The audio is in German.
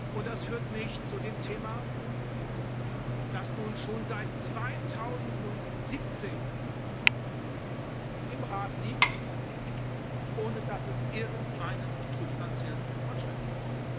Und das führt mich zu dem Thema, das nun schon seit 2017 im Rat liegt, ohne dass es irgendeinen substantiellen Fortschritt gibt.